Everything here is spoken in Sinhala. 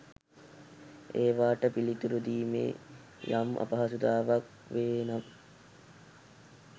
ඒවාට පිළිතුරු දීමේ යම් අපහසුතාවක් වේ නම්